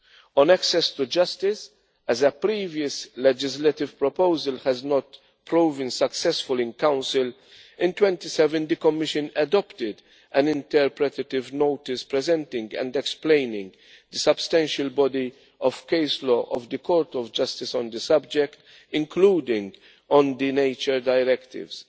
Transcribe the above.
On access to justice, as a previous legislative proposal did not prove successful in Council, the Commission adopted in April 2017 an interpretative notice, presenting and explaining the substantial body of case law of the Court of Justice on the subject, including on the nature Directives.